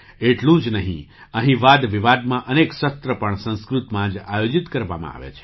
એટલું જ નહીં અહીં વાદ વિવાદમાં અનેક સત્ર પણ સંસ્કૃતમાં જ આયોજિત કરવામાં આવે છે